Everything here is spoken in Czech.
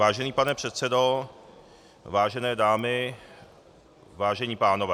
Vážený pane předsedo, vážené dámy, vážení pánové.